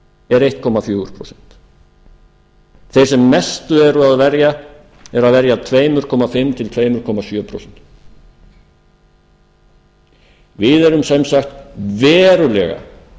er einn komma fjögur prósent þeir sem mestu eru að verja eru að verja tveimur og hálft til tvö komma sjö prósent við erum sem sagt verulega